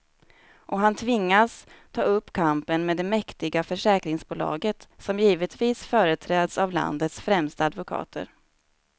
Och han tvingas ta upp kampen med det mäktiga försäkringsbolaget, som givetvis företräds av landets främsta advokater.